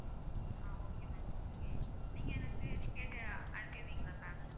ஆஹ் okay ma'am okay நீங்க எனக்கு ticket அனுப்பிடறீங்களா ma'am